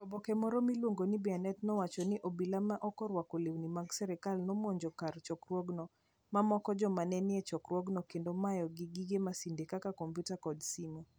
oboke moro miluongo ni Bianet nowacho ni obila ma ok orwako lewni mag sirkal nomonjo kar chokruogno, momako joma ne nie chokruogno, kendo mayogi gige masinde kaka kompyuta kod simo.